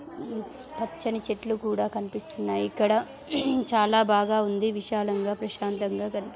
పచ్చని చెట్లు కూడా కనిపిస్తున్నాయి ఇక్కడ చాలా బాగా ఉంది విశాలంగా ప్రశాంతంగా--